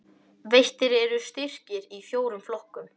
Veittir eru styrkir í fjórum flokkum